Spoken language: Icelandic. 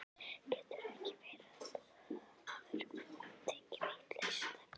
Getur ekki verið að þú hafir tekið vitlaust eftir?